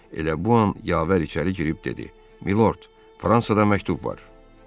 Elə bu an Yavər içəri girib dedi: "Milord, Fransadan məktub var."